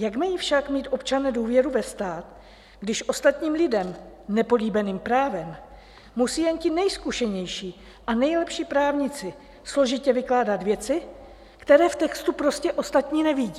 Jak mají však mít občané důvěru ve stát, když ostatním lidem nepolíbeným právem musí jen ti nejzkušenější a nejlepší právníci složitě vykládat věci, které v textu prostě ostatní nevidí?